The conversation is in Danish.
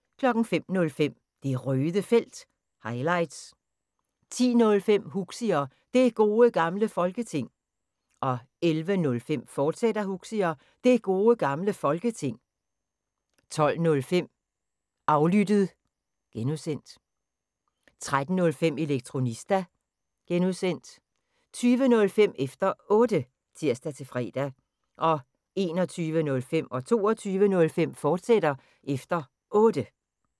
05:05: Det Røde Felt – highlights 10:05: Huxi og Det Gode Gamle Folketing 11:05: Huxi og Det Gode Gamle Folketing, fortsat 12:05: Aflyttet (G) 13:05: Elektronista (G) 20:05: Efter Otte (tir-fre) 21:05: Efter Otte, fortsat (tir-fre) 22:05: Efter Otte, fortsat (tir-fre)